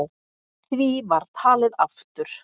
Því var talið aftur.